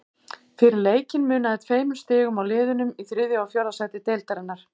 Fyrir leikinn munaði tveimur stigum á liðunum í þriðja og fjórða sæti deildarinnar.